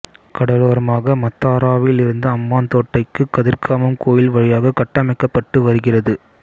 கடலோரமாக மத்தாராவிலிருந்து அம்பாந்தோட்டைக்கு கதிர்காமம் கோயில் வழியாக கட்டமைக்கப்பட்டு வருகிறது